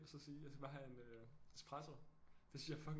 Og så sige jeg skal bare have en espresso det synes jeg er fucking